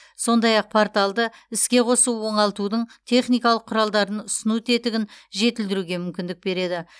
сондай ақ порталды іске қосу оңалтудың техникалық құралдарын ұсыну тетігін жетілдіруге мүмкіндік береді